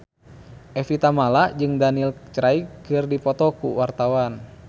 Evie Tamala jeung Daniel Craig keur dipoto ku wartawan